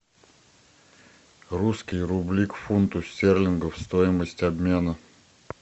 русские рубли к фунту стерлингов стоимость обмена